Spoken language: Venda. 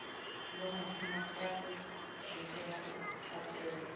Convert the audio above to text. vhafumakadzi zwi tea u katela